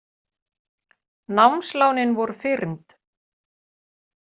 Námslánin voru fyrnd